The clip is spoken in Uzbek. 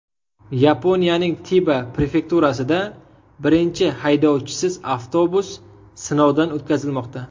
Yaponiyaning Tiba prefekturasida birinchi haydovchisiz avtobus sinovdan o‘tkazilmoqda.